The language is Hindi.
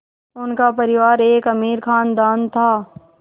उनका परिवार एक अमीर ख़ानदान था